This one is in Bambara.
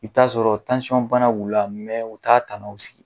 I bɛ t'a sɔrɔ b'u la mɛ u t'a tanaw sigi